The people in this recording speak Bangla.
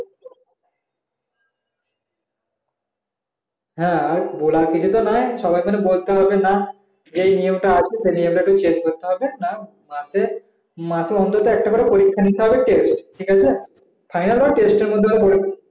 হ্যাঁ বলার কিছু তো নাই সে নিয়মটা তো change করতে হবে এত মাসে অন্তত একটা করে পরীক্ষা দিতে হবে ফাইনাল বা টেস্টের মতো